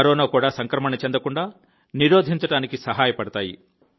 corona కూడా సంక్రమణ చెందకుండా నిరోధించడానికి సహాయపడతాయి